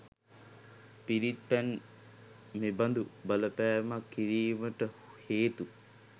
පිරිත් පැන් මෙබඳු බලපෑමක් කිරීමට හේතු